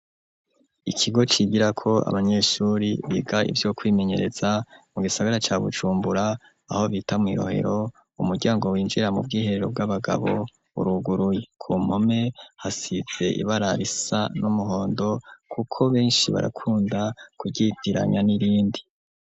Ikigo cigirako abanyeshuri biga ivyo kwimenyereza mu gisagara ca Bujumbura aho bita mw'i rohero umuryango winjira mu bwiherero bw'abagabo uruguruye, ku mpome hasize ibara risa n'umuhondo kuko benshi barakunda kuvyitiranya n'irindi.